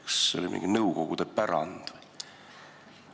Kas see on mingi nõukogude pärand või?